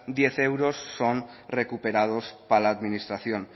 diez euros son recuperados para la administración